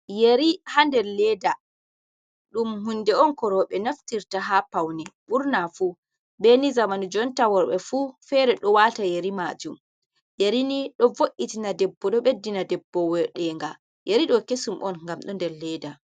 Yeri ha nder leda ɗum hunde on ko roɓe naftirta ha paune ɓurna fu beni zamanu jonta worɓe fu fere ɗo wata yari majum, yeri ɗoni ɗo vo’itina debbo ɗo ɓeddina debbo wodenga yeri ɗo kesum on ngam ɗo nder leda.